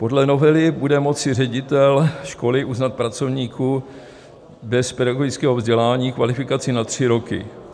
Podle novely bude moci ředitel školy uznat pracovníkům bez pedagogického vzdělání kvalifikaci na tři roky.